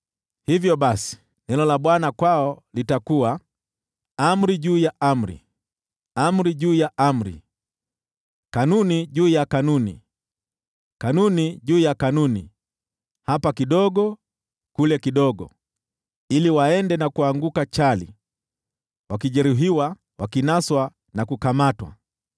Hivyo basi, neno la Bwana kwao litakuwa: Amri juu ya amri, amri juu ya amri, kanuni juu ya kanuni, kanuni juu ya kanuni, hapa kidogo, kule kidogo: ili waende na kuanguka chali, wakijeruhiwa, wakinaswa na kukamatwa.